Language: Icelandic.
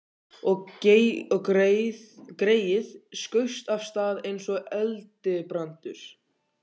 Og greyið skaust af stað eins og eldibrandur.